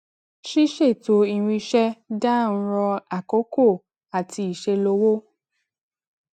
ṣíṣètò irinṣẹ dáa ń ran àkókò àti iṣé lówó